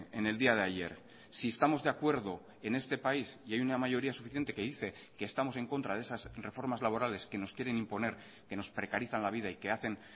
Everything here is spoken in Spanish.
en el día de ayer si estamos de acuerdo en este país y hay una mayoría suficiente que dice que estamos en contra de esas reformas laborales que nos quieren imponer que nos precarizan la vida y que hacen